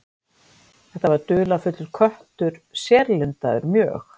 Þetta var dularfullur köttur, sérlundaður mjög.